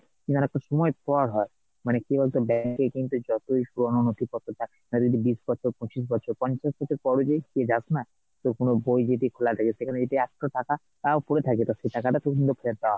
কিন্তু অনেকটা সময় পর হয় মানে কি বলতো bank এ কিন্তু যতই পুরোনো নথিপত্র থাকুক না ধরেনে বিশ বছর পচিশ বছর পঞ্চাশ বছর পরও যদি যাসনা তো কোনো বই যদি খোলা থাকে সেখানে যদি একটো টাকা টাও কিন্তু ফেরত পাওয়া হবে